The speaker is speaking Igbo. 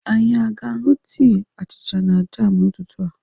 Anyị aga aṅụ tii, achịcha na jam n'ụtụtụ a?